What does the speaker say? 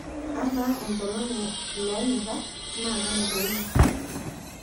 amaa enkolong' ee iloonyorra naa kanu te wiki